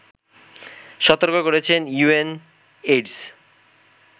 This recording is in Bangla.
সতর্ক করেছে ইউএনএইডস